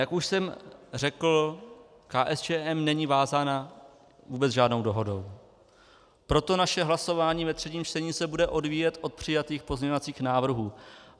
Jak už jsem řekl, KSČM není vázána vůbec žádnou dohodou, proto naše hlasování ve třetím čtení se bude odvíjet od přijatých pozměňovacích návrhů.